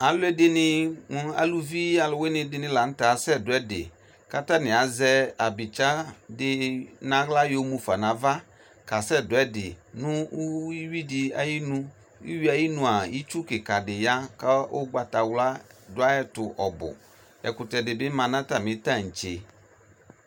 Alʋɛdini mʋ aluvi alʋwini lanʋtɛ asɛdʋ ɛdi kʋ atani azɛ abitsadi nʋ aɣla yɔmʋ fa nʋ ava kasɛdʋ ɛdi nʋ ʋwidi ayʋ inʋ ʋwie ayʋ inʋa itsʋ kikadi ya kʋ ugbtawla dʋ ayʋ ɛtʋ ɔbʋ ɛkʋtɛdi bi ma nʋ atami tantse